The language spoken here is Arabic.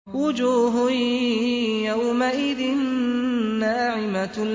وُجُوهٌ يَوْمَئِذٍ نَّاعِمَةٌ